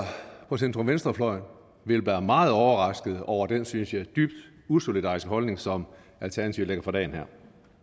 på centrum venstre fløjen vil være meget overrasket over den synes jeg dybt usolidariske holdning som alternativet lægger for dagen her